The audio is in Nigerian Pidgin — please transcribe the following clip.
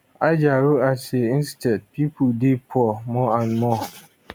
ajaero add say instead pipo dey poor more and more